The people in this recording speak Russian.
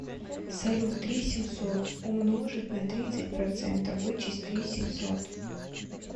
салют три семьсот умножить на тридцать процентов вычесть три семьсот